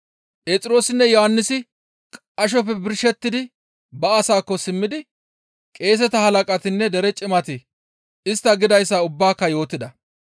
Phexroosinne Yohannisi qashoppe birshettidi ba asataakko simmidi qeeseta Halaqatinne Dere cimati istta gidayssa ubbaaka yootida.